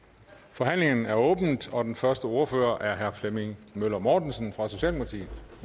forhandlingen er åbnet og den første ordfører er herre flemming møller mortensen fra socialdemokratiet